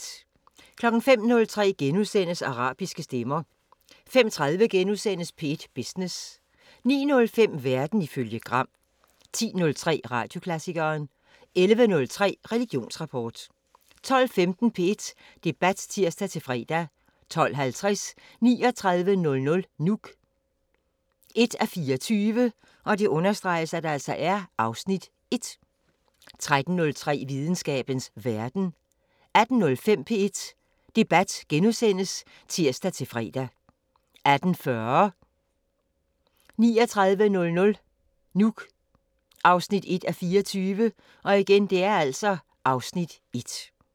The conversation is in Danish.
05:03: Arabiske stemmer * 05:30: P1 Business * 09:05: Verden ifølge Gram 10:03: Radioklassikeren 11:03: Religionsrapport 12:15: P1 Debat (tir-fre) 12:50: 3900 Nuuk 1:24 (Afs. 1) 13:03: Videnskabens Verden 18:05: P1 Debat *(tir-fre) 18:40: 3900 Nuuk (1:24) (Afs. 1)